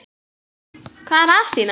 Hvað er að Stína?